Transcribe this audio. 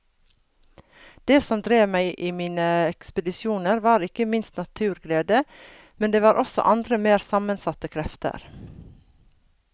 Det som drev meg i mine ekspedisjoner var ikke minst naturglede, men det var også andre mer sammensatte krefter.